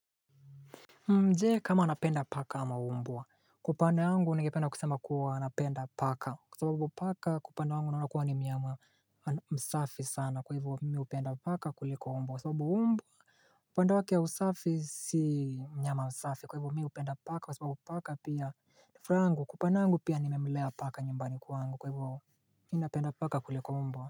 Je kama anapenda paka ama umbwa, kwa upande wangu nengependa kusema kuwa napenda paka, kwa sababu paka kwa upande wangu naona kua ni mnyama msafi sana kwa hivyo mimi hupenda paka kuliko umbwa, kwa sababu umbwa Kwa upande wake wa usafi si nyama msafi kwa hivyo mimi hupenda paka kwa sababu paka pia nifuraha yaangu kwa upande wangu pia nimemlea paka nyumbani kwangu kwa hivyo mimi napenda paka kuliko umbwa.